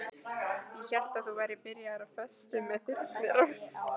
Ég hélt að þú værir byrjaður á föstu með Þyrnirós.